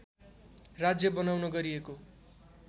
राज्य बनाउन गरिएको